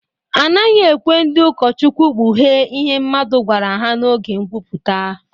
A naghị ekwe ndị ụkọchukwu kpughee ihe mmadụ gwara ha n’oge nkwuputa.